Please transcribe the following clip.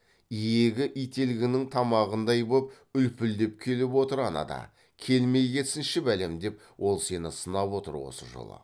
иегі ителгінің тамағындай боп үлпілдеп келіп отыр анада келмей кетсінші бәлем деп ол сені сынап отыр осы жолы